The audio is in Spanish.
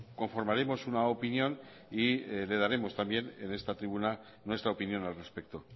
conformaremos una opinión y le daremos también en esta tribuna nuestra opinión al respecto